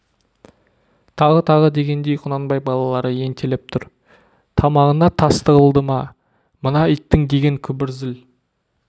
тағы тағы дегендей құнанбай балалары ентелеп түр тамағына тас тығылды ма мына иттің деген күбір зіл